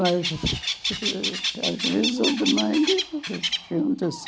Mas, às vezes, um domingo, a gente junta-se.